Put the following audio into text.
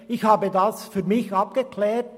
Ich habe es für mich abgeklärt.